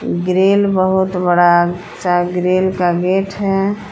Grill बहुत बड़ा सा ग्रिल का गेट है।